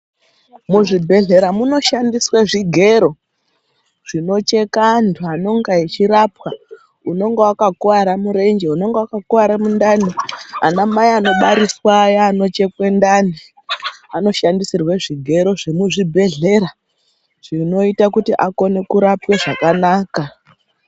Muzvibhehlera munoshandiswe zvigero zvinocheka antu anonga echirapwa unonga wakakuwara murenje, unonga wakakuwara mundani, anamai anobariswa aya anochekwe ndani anoshandisirwe zvigero zvemuzvibhehlera zvinoita kuti akone kurapwe zvakanaka.